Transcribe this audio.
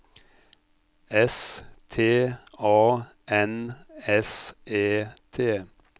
S T A N S E T